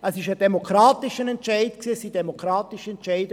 Es waren demokratisch gefällte Entscheide.